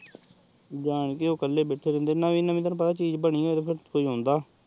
ਜਾਣਕੇ ਓਹ੍ਹ ਕੱਲੇ ਬੈਕ੍ਠੇ ਰਹੰਦੇ ਨਵੀ ਨਵੀ ਕੋਈ ਚੀਜ਼ ਬਾਨੀ ਤੇਹ ਓਹ ਆਉਂਦਾ